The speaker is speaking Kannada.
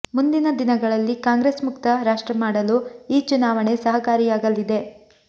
ಮುಂದಿನ ದಿನಗಳಲ್ಲಿ ಕಾಂಗ್ರೆಸ್ ಮುಕ್ತ ರಾಷ್ಟ್ರ ಮಾಡಲು ಈ ಚುನಾವಣೆ ಸಹಕಾರಿಯಾಗಲಿದೆ